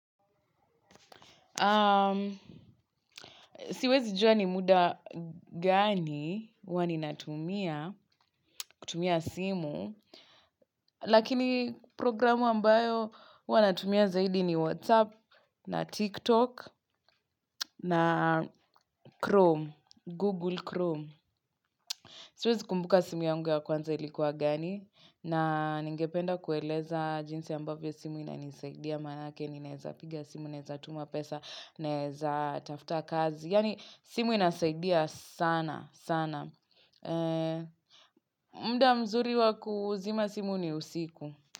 Siwezi jua ni muda gani huwa ninatumia kutumia simu. Lakini programu ambayo huwa natumia zaidi ni WhatsApp na TikTok na Chrome, Google Chrome. Siwezi kumbuka simu yange ya kwanza ilikuwa gani. Na ningependa kueleza jinsi ambavyo simu inanisaidia manake ninaeza piga simu, naeza tuma pesa, naeza tafuta kazi. Yani simu inasaidia sana sana. Muda mzuri wakuzima simu ni usiku.